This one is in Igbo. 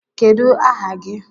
Kedu aha gi?